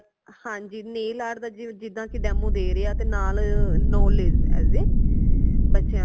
ਹਾਂਜੀ nail art ਦਾ ਜਿਦਾ ਕਿ demo ਦੇ ਰਏ ਹਾ ਤੇ ਨਾਲ knowledge as a ਬੱਚਿਆਂ ਨੂ